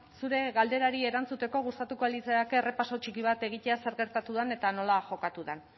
zure galderari erantzuteko gustatuko litzaidake errepaso txiki bat egitea zer gertatu den eta nola jokatu den